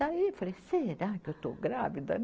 Daí eu falei, será que eu estou grávida?